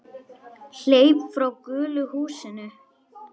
Hleyp frá gulu húsinu.